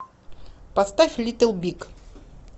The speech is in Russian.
поставь литл биг